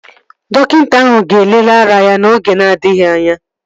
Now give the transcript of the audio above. Dọkịta ahụ ga-elele ara ya n'oge na-adịghị anya